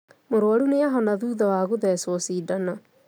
Mũrũaru nĩ ahona thutha wa gũthecwo cindano